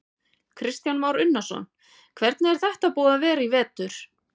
Kristján Már Unnarsson: Hvernig er þetta búið að vera í vetur?